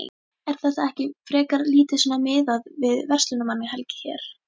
Er þetta ekki frekar lítið svona miðað við verslunarmannahelgi hér?